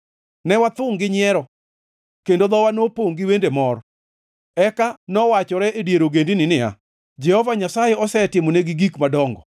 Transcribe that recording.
Ne wathungʼ gi nyiero kendo dhowa nopongʼ gi wende mor. Eka nowachore e dier ogendini niya, “Jehova Nyasaye osetimonegi gik madongo.”